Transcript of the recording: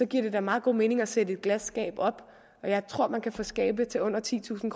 giver det da meget god mening at sætte et glasskab op og jeg tror man kan få skabe til under titusind